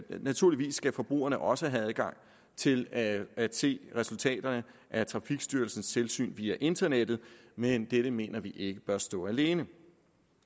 naturligvis skal forbrugerne også have adgang til at at se resultaterne af trafikstyrelsens tilsyn via internettet men dette mener vi ikke bør stå alene